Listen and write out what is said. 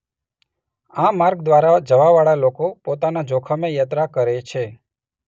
આ માર્ગ દ્વારા જવાવાળા લોકો પોતાના જોખમે યાત્રા કરે છે.